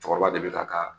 Cɛkɔrɔba de bi ka